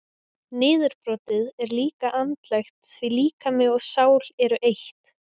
Niðurbrotið er líka andlegt því líkami og sál eru eitt.